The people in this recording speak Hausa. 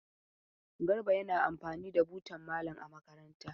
Garba yana amfani da butan malam a makaranta.